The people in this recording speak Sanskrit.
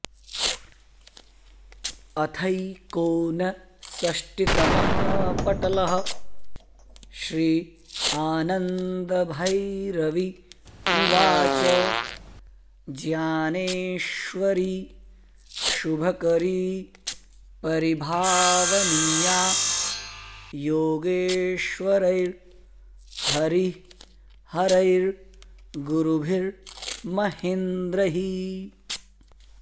अथैकोनषष्टितमः पटलः श्रीआनन्दभैरवी उवाच ज्ञानेश्वरी शुभकरी परिभावनीया योगेश्वरैर्हरिहरैर्गुरुभिर्महेन्द्रैः